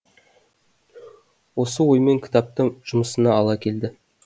осы оймен кітапты жұмысына ала келді